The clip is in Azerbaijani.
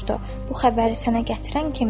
Bu xəbəri sənə gətirən kimdir?